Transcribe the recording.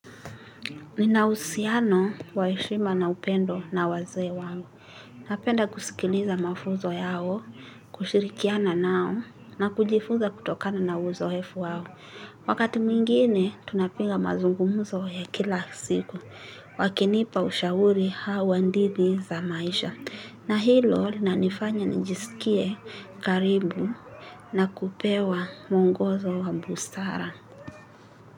Nina uhusiano wa heshima na upendo na wazee wangu. Napenda kusikiliza mafunzo yao, kushirikiana nao, na kujifunza kutokana na uzoefu wao. Wakati mwingine, tunapiga mazungumzo ya kila siku. Wakinipa ushauri au hadithi za maisha. Na hilo, linanifanya nijisikie karibu na kupewa muongozo wa bustara.